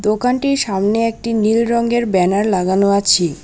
দোকানটির সামনে একটি নীল রঙের ব্যানার লাগানো আছি।